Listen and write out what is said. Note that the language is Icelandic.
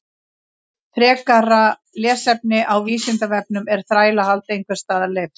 Frekara lesefni á Vísindavefnum Er þrælahald einhvers staðar leyft?